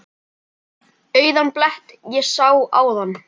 Auðan blett ég áðan sá.